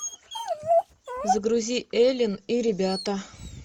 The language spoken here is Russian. загрузи элен и ребята